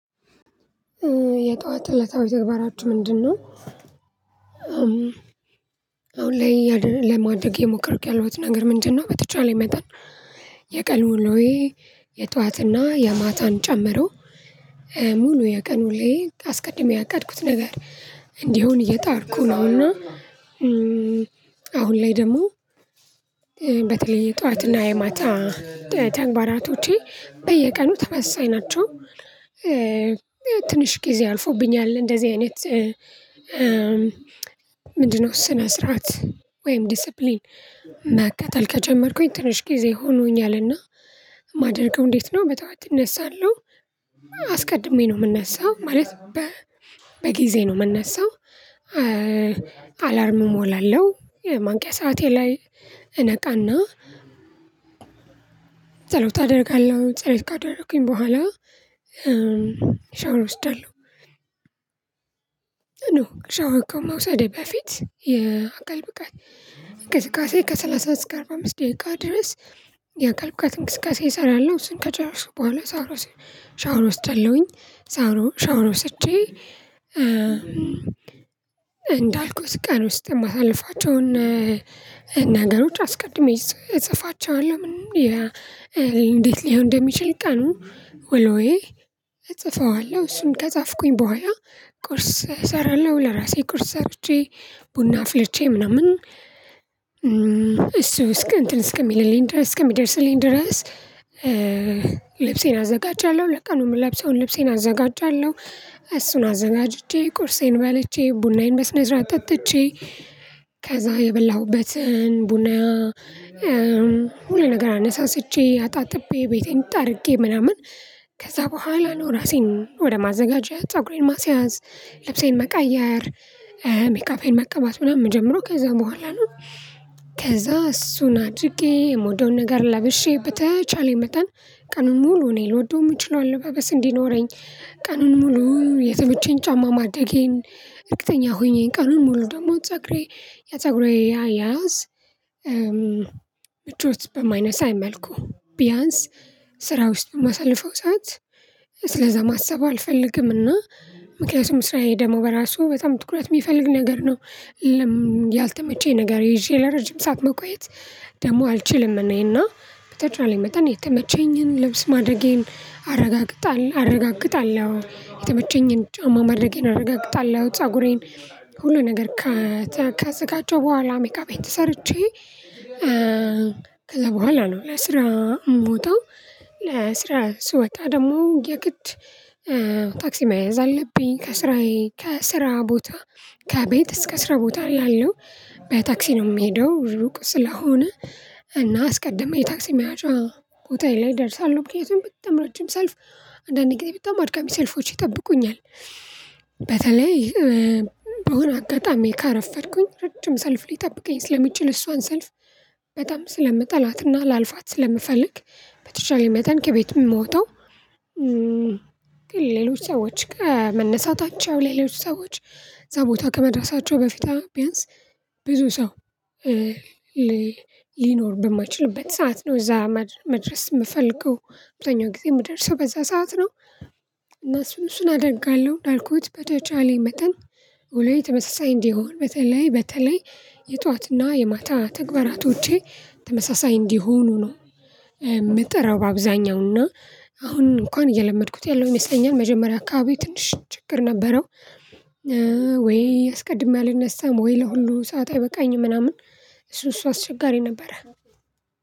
የጧት እለታዊ ተግባራችሁ ምንድነው? አሁን ላይ እያደ ለማድረግ የሞከርኩት ያለሁት ነገር ምንድን ነው በተቻለ መጠን። የቀን ውሎዬ የጧት እና የማታን ጨምሮ። ሙሉ የቀንኑ ውሎዬን አስቀድሜ ያቃድኩት ነገር እንዲሆን እየጣርኩ ነው እና። አሁን ላይ ደግሞ በተለይ የጧት እና የማታ ተግባራቶቼ በየቀኑ ተሳሳይ ናቸው። ትንሽ ጊዜ አልፎብኛል እንደዚህ አይነት። ምንድነው ስነ ስርዓት ወይም ዲሲፕሊን መከተል ከጀመርኩኝ ትንሽ ጊዜ ሆኖኛልና። የማደርገው እንዴት ነው በጧት አነሳለሁ። አስቀድሜ ነው የምነሳው ማለት በጊዜ ነው የምነሳው። አላርም እሞላለሁ የማንቂያ ሰዓቴ ላይ እነቃና። ጸሎት አደርጋለሁ ጸሎት ካደረኩኝ በኋላ ሻውር እወስዳለሁ። ወስዳለሁ ኖ ሻወር ከመውሰዴ በፊት የአካል ብቃት እንቅስቃሴ ከሰላሳ እስከ አርባ አምስት ደቂቃ ድረስ። የአካል ብቃት እንቅስቃሴ እሰራለሁ እሱን ከጨረስኩኝ በኋላ ሻወር ሻወር ወ እወስዳለሁኝ። ሻውሮ ሻውሮ ወስጄ እንዳልኩት ቀን ውስጥ የማሳልፋቸውን ነገሮች አስቀድሜ እጽፋቸዋለሁ። ምንም እንዴት ሊሆን እንደሚችል ቀኑ ወሎዬ እጽፈዋለሁ እሱን ከጻፍኩኝ በኋላ። ቁርስ እሰራለሁ ለራሴ ቁርስ ሰርቼ ቡና አፍልቼ ምናምን እሱ እስከ እንትን እስከሚልልኝ ድረስ እስከሚደርስልኝ ድረስ። ልብሴን አዘጋጃለሁ ለቀኑ የምለብሰውን ልብሴን አዘጋጃለሁ። እሱን አዘጋጅቼ ቁርሴን በልቼ ቡናዬን በስነ ስርዓት ጠጥቸ። ከዛ የበላሁበትን ቡና ሁሉ ነገር አነሳስቼ አጣጥቤ ቤቴን ጠርጌ ምናምን። ከዛ በኋላ ነው ራሴን ወደ ማዘጋጀት ፀጉሬን ማስያዝ ልብሴን መቀየር ሜካፔን መቀባት ምናምን ምጀምረው ከዛ በኋላ ነው። ከዛ እሱን አድርጌ የመውደውን ነገር ለብሼ በተቻለ መጠን ቀኑን ሙሉ እኔ ልወደው የምችለው አለባበስ እንዲኖረኝ። ቀኑን ሙሉ የተመቸኝ ጫማ ማደጌን እርግጠኛ ሆኜ ቀኑን ሙሉ ደግሞ ፀጉሬ የፀጉሬ አያያዝ። ምቾት በማይነሳ መልኩ ቢያንስ ስራ ውስጥ የማሳልፈው ሰዓት ስለዛ ማሰብ አልፈልግምና። ምክንያቱም ስራዬ ደግሞ በራሱ በጣም ትኩረት የሚፈልግ ነገር ነው። ያልተመቸኝ ነገር ይዤ ለረጅም ሰዓት መቆየት ደግሞ አልችልም። እኔ እና በተቻለኝ መጠን የተመቸኝን ልብስ ማድረጌን አረጋግጣለሁ አረጋግጣለሁ የተመቸኝን ጫማ ማድረጌን አረጋግጣለሁ ፀጉሬን ሁሉ ነገር ከዘጋቸ ሁኝ በኋላ ሜካፔን ተሰርቸ። ከዛ በኋላ ነው ለስራ ምወጠው። ለስራ ስወጣ ደግሞ የግድ ታክሲ መያዝ አለብኝ ከስራዬ ከስራ ቦታ ከቤት እስከ ስራ ቦታ እላለሁ በታክሲ ነው የምሄደው ሩቅ ስለሆነ። እና አስቀድሜ የታክሲ መያዣ ቦታዬ ላይ እደርሳለሁ ምክንያቱም በጣም ረጅም ሰልፍ አንድአንድ ጊዜ በጣም አድካሚ ሰልፎች ይጠብቁኛል። በተለይ በሆነ አጋጣሚ ካረፈድኩኝ ረጅም ሰልፍ ሊጠብቀኝ ስለሚችል እሷን ሰልፍ በጣም ስለምጠላትና ላልፋት ስለምፈልግ። በተቻለ መጠን ከቤት ምመጣው። ግን ሌሎች ሰዎች ከመነሳታቸው ሌሎች ሰዎች እዛ ቦታ ከመድረሳቸው በፊት ቢያንስ ብዙ ሰው ሊኖር በማይችልበት ሰዓት ነው እዛ መድረስ የምፈልገው። አብዛኛው ጊዜ የምደርሰው በዛ ሰዓት ነው እነሱን እሱን አደርጋለሁ እንዳልኩት በተቻለኝ መጠን ውሎየ ተመሳሳይ እንዲሆን በተለይ በተለይ የጧት እና የማታ ተግባራቶቼ ተመሳሳይ እንዲሆኑ ነው። የምጥረው በአብዛኛው እና አሁን እንኳን እየለመድኩት ያለው ይመስለኛል መጀመሪያ አካባቢ ትንሽየ ችግር ነበረው። ወይ አስቀድሜ አልነሳም ወይ ለሁሉ ሰዓት አይበቃኝም ምናምን እሱ እሱ አስቸጋሪ ነበረ።